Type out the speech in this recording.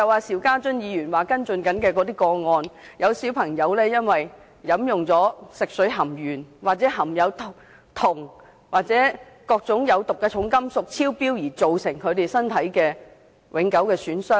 邵家臻議員正在跟進的個案中，有孩童因為飲用含鉛、銅或有毒重金屬超標的食水，造成身體永久受損。